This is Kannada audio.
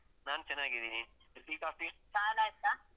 ನಾನ್ ಚೆನ್ನಾಗಿದ್ದೀನಿ. tea, coffee ಚಾಯೆಲ್ಲಾಆಯ್ತಾ?